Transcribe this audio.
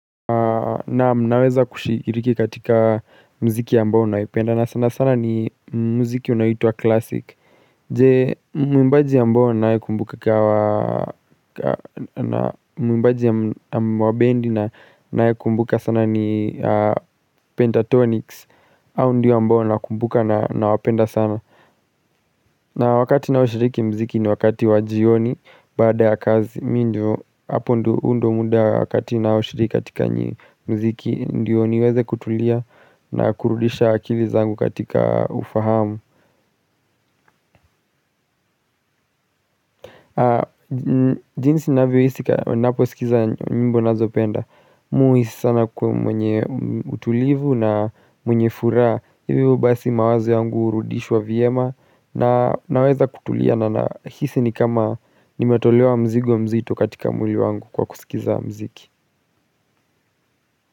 Naam naweza kushiriki katika mziki ambao naipenda na sana sana ni mziki unaoitwa classic Je mwimbaji ambao ninayekumbuka wa na mwimbaji wa bendi na nae kumbuka sana ni pentatonics hao ndio ambao nakumbuka na nawapenda sana na wakati ninaoshiriki mziki ni wakati wa jioni, baada kazi, mi ndo, hapo ndo muda wakati ninaoshiriki katika nyi mziki, ndiyo niweze kutulia na kurudisha akili zangu katika ufahamu Jinisi navyo hisi, ninapo skiza nyimbo ninazopenda, mi huhisi sana kuwa mwenye utulivu na mwenye furaha hivyo basi mawazo yangu hurudishwa viema Naweza kutulia na nahisi ni kama nimetolewa mzigo mzito katika mwili wangu kwa kusikiza mziki.